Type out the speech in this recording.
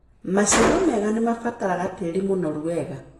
Maciaro mega nĩmabataraga tĩri mũnoru wega.